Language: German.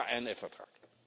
Das ist der INF Vertrag.